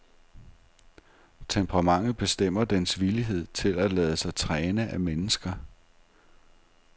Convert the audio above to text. Temperamentet bestemmer dens villighed til at lade sig træne af mennesker.